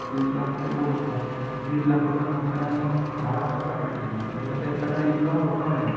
तीस लाख रुपये बोलणार तीस लाख रुपये बोलणार आणि मग दहा लाख स्वतःकडे ठेवणार म्हणजे कसं एक प्रकारे इनकमच होतो ना.